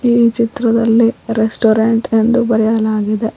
ಈ ಚಿತ್ರದಲ್ಲಿ ರೆಸ್ಟೋರೆಂಟ್ ಎಂದು ಬರೆಯಲಾಗಿದೆ.